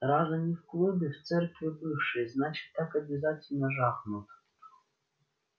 раз они в клубе в церкви бывшей значит так обязательно жахнут